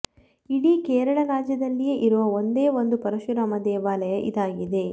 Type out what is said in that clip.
ಇಡೀ ಕೇರಳ ರಾಜ್ಯದಲ್ಲಿಯೆ ಇರುವ ಒಂದೇ ಒಂದು ಪರಶುರಾಮ ದೇವಾಲಯ ಇದಾಗಿದೆ